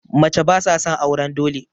Mace ba sa son auren dole